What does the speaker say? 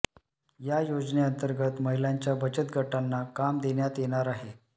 या योजनेअंतर्गत महिलांच्या बचत गटांना काम देण्यात येणार आहे